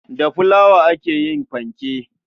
Da fulawa aka yi fanke.